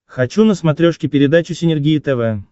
хочу на смотрешке передачу синергия тв